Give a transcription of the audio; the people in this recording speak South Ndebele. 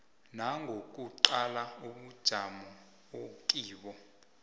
nangokuqala ubujamo okibo